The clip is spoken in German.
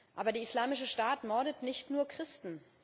Aber der Islamische Staat mordet nicht nur Christen.